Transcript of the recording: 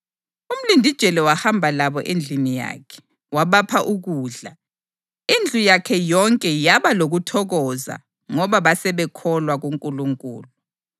Umlindijele wahamba labo endlini yakhe, wabapha ukudla. Indlu yakhe yonke yaba lokuthokoza ngoba basebekholwa kuNkulunkulu.